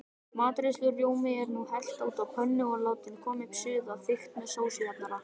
Matreiðslurjóma er nú hellt út á pönnuna og látin koma upp suða, þykkt með sósujafnara.